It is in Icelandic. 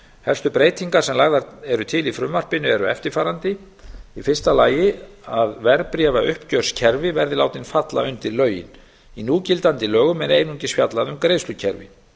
helstu breytingar sem lagðar eru til í frumvarpinu eru eftirfarandi í fyrsta lagi að verðbréfauppgjörskerfi verði látin falla undir lögin í núgildandi lögum er einungis fjallað um greiðslukerfi